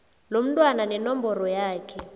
lomntwana nenomboro yakhe